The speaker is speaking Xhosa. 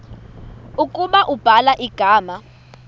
ukuba ubhala igama